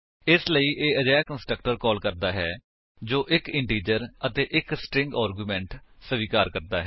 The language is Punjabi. ਇਸਲਈ ਇਹ ਅਜਿਹਾ ਕੰਸਟਰਕਟਰ ਕਾਲ ਕਰਦਾ ਹੈ ਜੋ 1 ਇੰਟੀਜਰ ਅਤੇ 1 ਸਟਰਿੰਗ ਆਰਗੁਮੇਂਟ ਸਵੀਕਾਰ ਕਰਦਾ ਹੈ